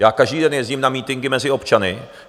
Já každý den jezdím na mítinky mezi občany.